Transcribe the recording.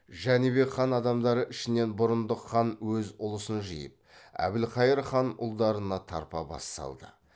жәнібек хан адамдары ішінен бұрындық хан өз ұлысын жиып әбілқайыр хан ұлдарына тарпа бас салды